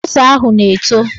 Ose ahụ na-eto